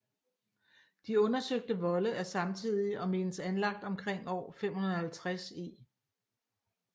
De undersøgte volde er samtidige og menes anlagt omkring år 550 e